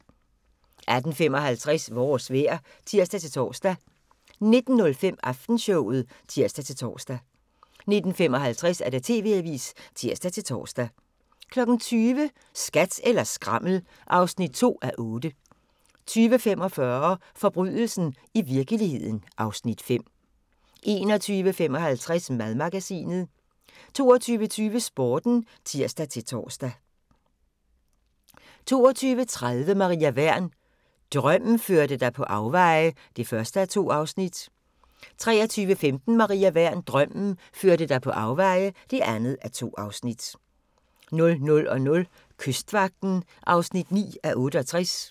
18:55: Vores vejr (tir-tor) 19:05: Aftenshowet (tir-tor) 19:55: TV-avisen (tir-tor) 20:00: Skat eller skrammel (2:8) 20:45: Forbrydelsen i virkeligheden (Afs. 5) 21:55: Madmagasinet 22:20: Sporten (tir-tor) 22:30: Maria Wern: Drømmen førte dig på afveje (1:2) 23:15: Maria Wern: Drømmen førte dig på afveje (2:2) 00:00: Kystvagten (9:68)